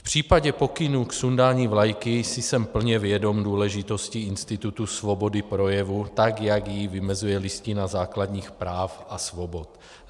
V případě pokynů k sundání vlajky jsem si plně vědom důležitosti institutu svobody projevu, tak jak ji vymezuje Listina základních práv a svobod.